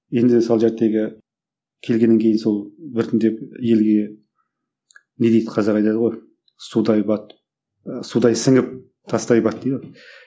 енді сол келгеннен кейін сол біртіндеп елге не дейді қазақ айтады ғой судай батып судай сіңіп тастай бат дейді ғой